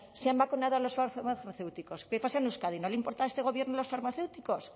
se han vacunado a los farmacéuticos qué pasa en euskadi no le importa a este gobierno los farmacéuticos